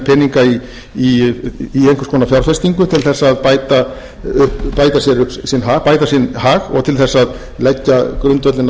peninga í einhvers konar fjárfestingu til þess að bæta sinn hag og til þess að leggja grundvöllinn